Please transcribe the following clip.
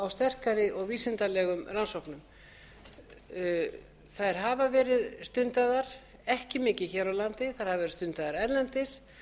sterkari og vísindalegum rannsóknum þær hafa verið stundaðar ekki mikið hér á landi þær hafa verið stundaðar erlendis